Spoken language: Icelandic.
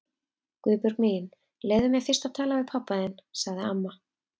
Guðbjörg mín, leyfðu mér fyrst að tala við pabba þinn sagði amma.